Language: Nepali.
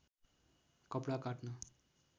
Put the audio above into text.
कपडा काट्न